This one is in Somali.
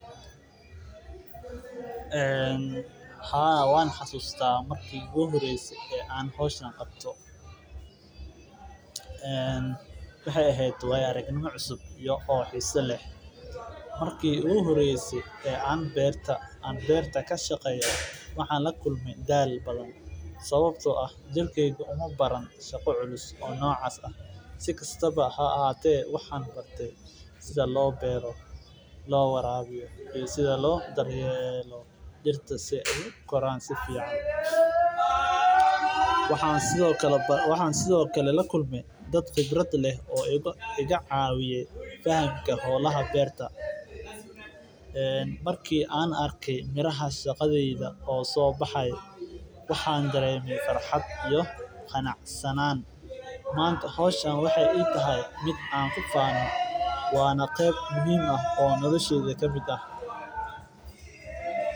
Een Ha ha. Waan xasuustaa markii ugu horeysay ee aan hawshan qabato. En. wahay ahayd way aragnimo cusub iyo oo xiiso leh markii uu horeysay ee aan beerta aan beerta ka shaqeeya. Maxaan la kulmay daal badan sababtoo ah jelkeega uma baran, shaqo culus oo noocas ah. Si kastaba ha ahaatee waxaan bartay sida loo beero, loo waraabiyo iyo sida loo daryeelo jirta si ay Koran si fiican. Waxaan sidoo kale bar. Waxaan sidoo kale la kulmay dad khibrad leh oo iga caawiyay fahamka hawlaha beerta. En markii aan arkay miraha shaqadayda oo soo baxay, waxaan dareemi farxad iyo qancanaan. Maanta hooshaan waxa ay tahay mid an u faafan. Waana qeyb muhiim ah oo noloshee ka miidah.